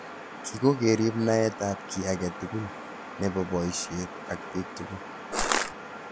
Kii kokerib naet ab ki age tugul nebo boishet ak bik tugul.